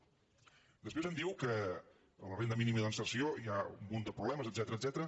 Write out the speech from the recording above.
després em diu que a la renda mínima d’inserció hi ha un munt de problemes etcètera